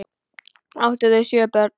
Áttu þau sjö börn.